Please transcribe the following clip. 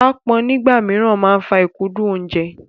Aápọn nígbà mìíràn máa ń fa ìkúndù oúnjẹ.